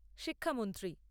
শিক্ষামন্ত্রী